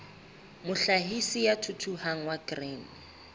mohlahisi ya thuthuhang wa grain